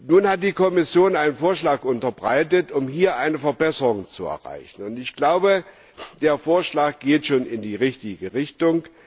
Nun hat die Kommission einen Vorschlag unterbreitet, um hier eine Verbesserung zu erreichen, und ich glaube, der Vorschlag geht schon in die richtige Richtung.